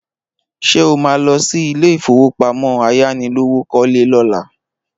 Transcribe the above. Ṣé o má lọ sí ilé ìfowópamọ́ ayánilówókọ́lé lọ́la?